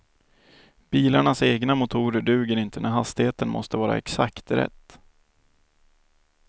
Bilarnas egna motorer duger inte när hastigheten måste vara exakt rätt.